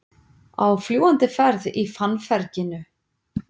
Á fljúgandi ferð í fannferginu